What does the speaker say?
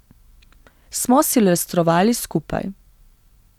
Smo silvestrovali skupaj.